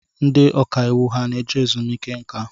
Ndị ọkàiwu ha na-eje ezumiike nka?